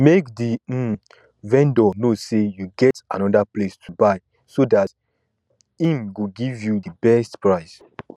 make di um vendor know sey you get anoda place to buy so dat um im go give you di best price